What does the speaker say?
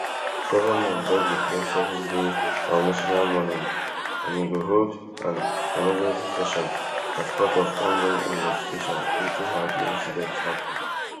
government don declare seven days days of national mourning and e go hold an emergency session as part of ongoing investigations into how di incident happen